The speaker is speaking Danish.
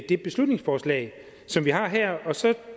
det beslutningsforslag som vi har her